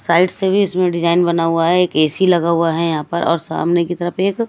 side से भी इसमें डिजाइन बना हुआ है एक ए_सी लगा हुआ है यहां पर और सामने की तरफ एक--